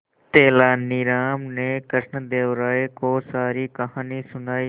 तेलानी राम ने कृष्णदेव राय को सारी कहानी सुनाई